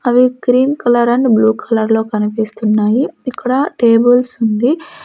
అవి cream colour and blue కలర్లో కనిపిస్తున్నాయి ఇక్కడ టేబుల్సుంది .